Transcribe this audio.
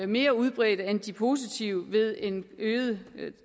mere udbredte end de positive ved en øget